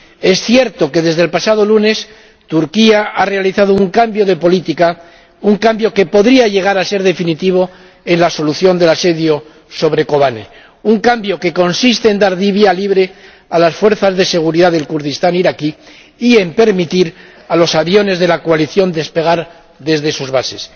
Es cierto que, desde el pasado lunes, Turquía ha realizado un cambio de política, un cambio que podría llegar a ser definitivo en la solución del asedio sobre Kobane, un cambio que consiste en dar vía libre a las fuerzas de seguridad del Kurdistán iraquí y en permitir a los aviones de la coalición despegar desde sus bases.